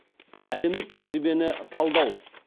әлемдік тәжірибені талдау